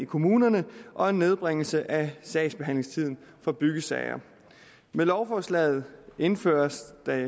kommunerne og en nedbringelse af sagsbehandlingstiden for byggesager med lovforslaget indføres der